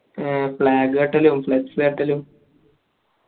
ആഹ് flag കെട്ടലും flux കെട്ടലും